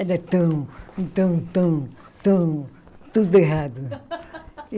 Era tão, tão, tão tão, tudo errado.